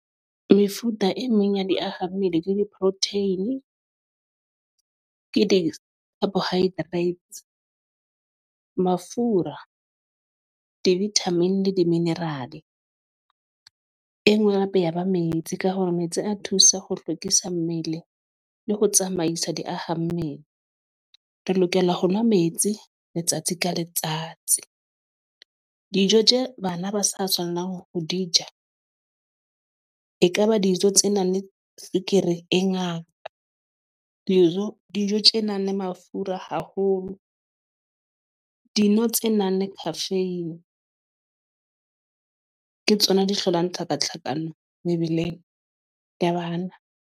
Mefuta e meng ya diahammele ke di-protein, ke di-carbohydrates, mafura di-vitamin le di-mineral. E nngwe oe beha ba metsi ka hore metsi a thusa ho hlwekisa mmele le ho tsamaisa diahammele. Re lokela ho nwa metsi letsatsi ka letsatsi. Dijo tje bana ba sa tshwanelang ho di ja ekaba dijo tse nang le tswekere e ngata. Dijo dijo tjena le mafura haholo. Dino tse nang le caffeine ke tsona di hlolang tlhakatlhakano mebeleng ya bana.